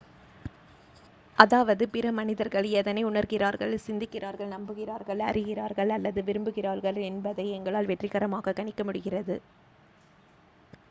அதாவது பிற மனிதர்கள் எதனை உணர்கிறார்கள் சிந்திக்கிறார்கள் நம்புகிறார்கள் அறிகிறார்கள் அல்லது விரும்புகிறார்கள் என்பதை எங்களால் வெற்றிகரமாக கணிக்க முடிகிறது